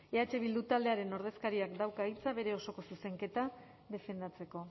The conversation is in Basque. eh bildu taldearen ordezkariak dauka hitza bere osoko zuzenketa defendatzeko